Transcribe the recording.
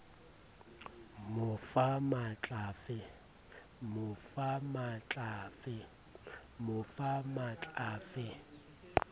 mo fa matl a fe